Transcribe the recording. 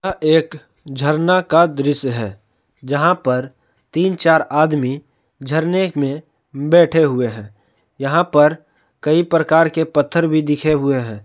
यह एक झरना का दृश्य है यहां पर तीन-चार आदमी झरने में बैठे हुए हैं यहां पर कई प्रकार के पत्थर भी दिखे हुए हैं।